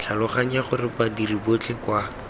tlhaloganya gore badiri botlhe kwa